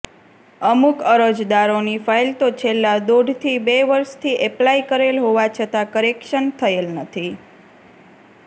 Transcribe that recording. અમુક અરજદારોની ફાઈલ તો છેલ્લાં દોઢથી બે વર્ષથી એપ્લાય કરેલ હોવા છતાં કરેક્શન થયેલ નથી